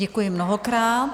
Děkuji mnohokrát.